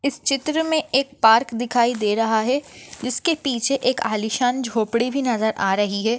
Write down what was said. इस चित्र मे एक पार्क दिखाई दे रहा है जिसके पीछे एक आलीशान झोपड़ी भी नजर आ रही है।